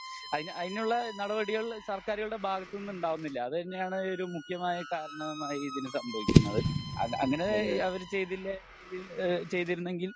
അയിന് അയിനുള്ള നടപടികൾ സർക്കാരുകളുടെ ഭാഗത്തു നിന്നും ഉണ്ടാവുന്നില്ല അത് തന്നെയാണ് ഒരു മുഖ്യമായ കാരണമായി ഇതിന് സംഭവിക്കുന്നത് അത് അങ്ങിനെ അവർ ചെയ്തില്ലായിരുന്നെകിൽ എഹ് ചെയ്തിരുന്നുവെങ്കിൽ